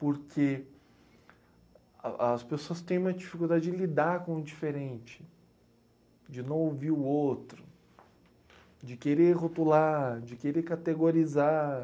Porque a as pessoas têm uma dificuldade de lidar com o diferente, de não ouvir o outro, de querer rotular, de querer categorizar.